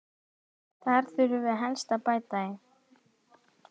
Þar þurfum við helst að bæta í.